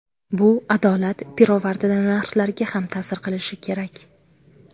Bu adolat, pirovardida narxlarga ham ta’sir qilishi kerak.